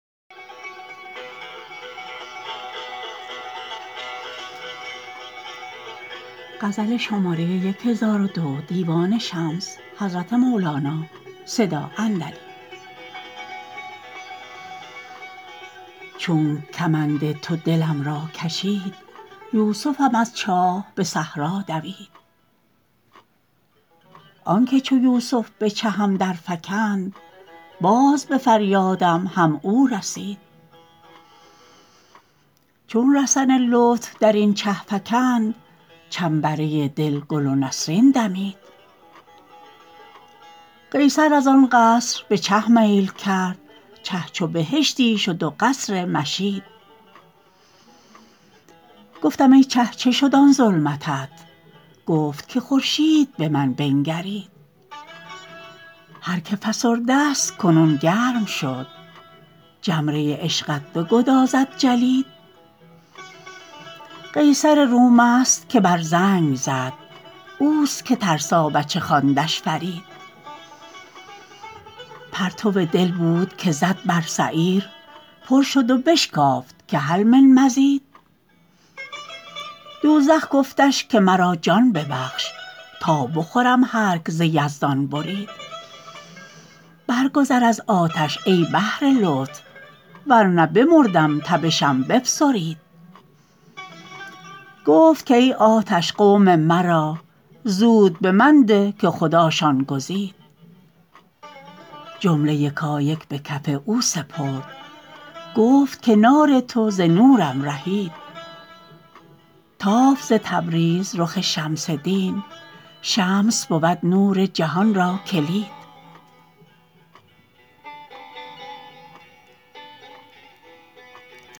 چونک کمند تو دلم را کشید یوسفم از چاه به صحرا دوید آنک چو یوسف به چهم درفکند باز به فریادم هم او رسید چون رسن لطف در این چه فکند چنبره دل گل و نسرین دمید قیصر از آن قصر به چه میل کرد چه چو بهشتی شد و قصر مشید گفتم ای چه چه شد آن ظلمتت گفت که خورشید به من بنگرید هر که فسردست کنون گرم شد جمره عشقت بگدازد جلید قیصر رومست که بر زنگ زد اوست که ترسابچه خواندش فرید پرتو دل بود که زد بر سعیر پر شد و بشکافت که هل من مزید دوزخ گفتش که مرا جان ببخش تا بخورم هرک ز یزدان برید برگذر از آتش ای بحر لطف ور نه بمردم تبشم بفسرید گفت که ای آتش قوم مرا زود به من ده که خداشان گزید جمله یکایک به کف او سپرد گفت که نار تو ز نورم رهید تافت ز تبریز رخ شمس دین شمس بود نور جهان را کلید